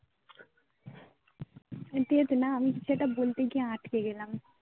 কিরে ঠিক আছে না আমি কিছু একটা বলতে গিয়ে আটকে গেলাম